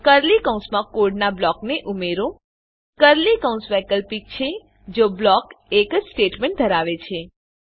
curly કૌંસમાં કોડનાં બ્લોકને ઉમેરો કર્લી કૌંસ વૈકલ્પિક છે જો બ્લોક એક જ સ્ટેટમેંટ ધરાવે છે